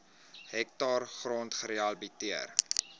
hektaar grond gerehabiliteer